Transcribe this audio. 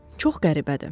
Çox qəribədir.